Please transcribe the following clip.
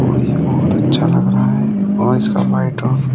और ये बहोत अच्छा लग रहा है और इसका लाइट ऑफ --